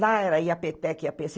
Lá era i á pê tec , i á pê cê.